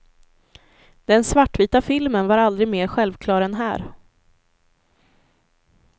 Den svartvita filmen var aldrig mer självklar än här.